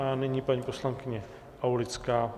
A nyní paní poslankyně Aulická.